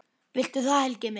Viltu það, Helgi minn?